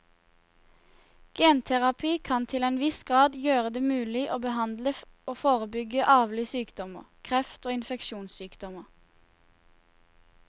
Genterapi kan til en viss grad gjøre det mulig å behandle og forebygge arvelige sykdommer, kreft og infeksjonssykdommer.